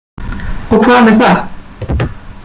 Og hvað með það?